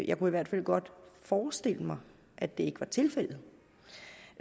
jeg kunne i hvert fald godt forestille mig at det ikke var tilfældet